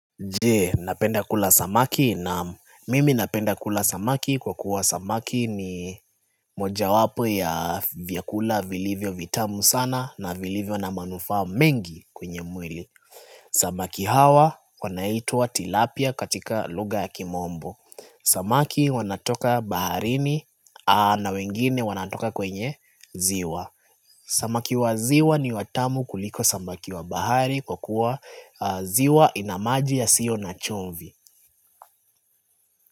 Je, unapenda kula samaki? Naam. Mimi napenda kula samaki kwa kuwa samaki ni moja wapo ya vyakula vilivyo vitamu sana na vilivyo na manufaa mengi kwenye mwili. Samaki hawa wanaitwa Tilapia katika lugha ya kimombo. Samaki wanatoka baharini na wengine wanatoka kwenye ziwa. Samaki wa ziwa ni watamu kuliko samaki wa bahari kwa kuwa ziwa ina maji yasiyo na chumvi.